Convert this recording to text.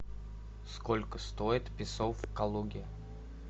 сколько стоит песо в калуге